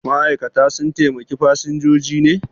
Ma'aikata sun taimaki fasinjoji ne?